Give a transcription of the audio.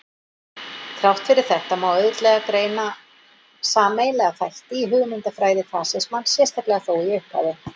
Þrátt fyrir þetta má auðveldlega greina sameiginlega þætti í hugmyndafræði fasismans, sérstaklega þó í upphafi.